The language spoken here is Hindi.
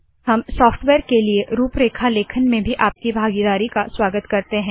हम सॉफ्टवेयर के लिए रूपरेखा लेखन में भी आपकी भागीदारी का स्वागत करते है